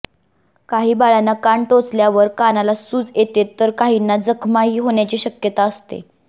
काही बाळांना कान टोचल्यावर कानाला सूज येते तर काहींना जखमाही होण्याची शक्यता असते